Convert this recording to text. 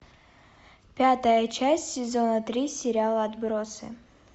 пятая часть сезона три сериала отбросы